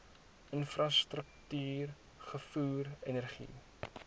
infrastruktuur vervoer energie